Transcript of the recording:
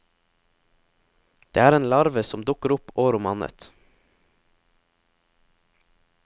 Det er en larve som dukker opp år om annet.